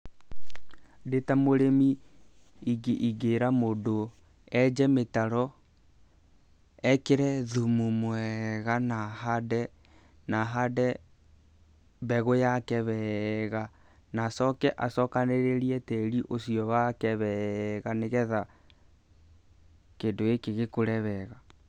Ndĩ ta mũrĩmi, ingĩĩra mũndũ enje mĩtaro, ekĩre thumu mwega na ahande mbegũ yake wega na acoke acokanĩrĩrie tĩri ũcio wake wega nĩ getha kĩndũ gĩkĩ gĩkũre wega.